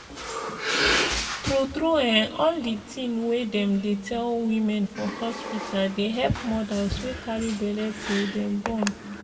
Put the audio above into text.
tru tru eh all the tin wey dem dey tell women for hospita dey help modas wey carry belle till dem born.